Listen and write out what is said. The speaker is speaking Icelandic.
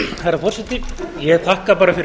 herra forseti ég þakka bara fyrir